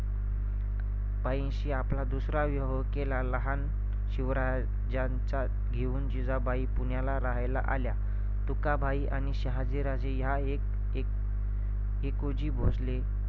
बाईंशी आपला दूसरा विवाह केला लहान शिवराज्यांचा घेऊन जिजाबई पुण्याला राहायला आल्या. तुकाबाई आणि शहाजीराजे या एक - एक टि~ टिकूजी भोसले